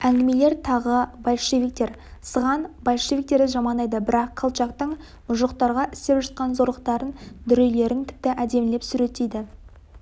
әңгімелері тағы большевиктер сыған большевиктерді жамандайды бірақ колчактың мұжықтарға істеп жатқан зорлықтарын дүрелерін тіпті әдемілеп суреттейді